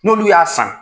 N'olu y'a san